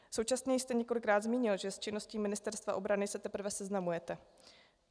Současně jste několikrát zmínil, že s činností Ministerstva obrany se teprve seznamujete.